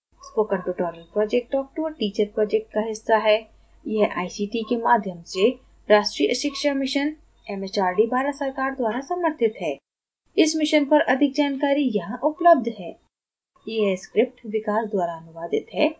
spoken tutorial project talk to a teacher project का हिस्सा है यह आईसीटी के माध्यम से राष्ट्रीय शिक्षा mission एमएचआरडी भारत सरकार द्वारा समर्थित है इस mission पर अधिक जानकारी यहां उपलब्ध है: